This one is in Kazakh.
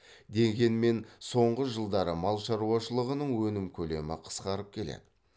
дегенмен соңғы жылдары мал шаруашылығының өнім көлемі қысқарып келеді